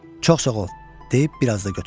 Çox sağ ol, deyib biraz da götürdüm.